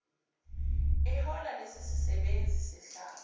eholo lesisebenzi sehlathi